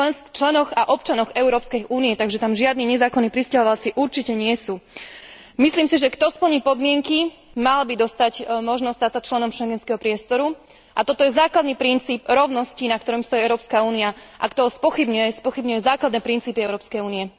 členoch a občanoch Európskej únie, takže tam žiadni nezákonní prisťahovalci určite nie sú. Myslím si, že kto splní podmienky, mal by dostať možnosť stať sa členom Schengenského priestoru a toto je základný princíp rovnosti, na ktorom stojí Európska únia, a kto ho spochybňuje, spochybňuje základné princípy Európskej únie.